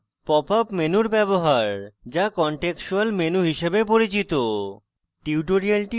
এছাড়া popup menu ব্যবহার যা কনটেক্সচুয়াল menu হিসাবে পরিচিত